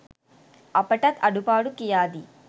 අපටත් අඩුපාඩු කියාදී